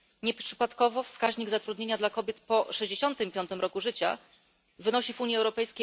Nieprzypadkowo wskaźnik zatrudnienia kobiet po 65 roku życia wynosi w UE